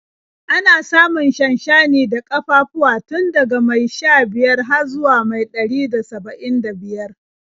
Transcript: Ana samun shanshani da ƙafafuwa tun daga mai sha-biyar har zuwa mai ɗari da saba'in da biyar.